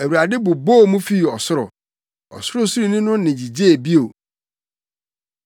Awurade bobɔɔ mu fii ɔsoro; Ɔsorosoroni no nne gyigyee bio.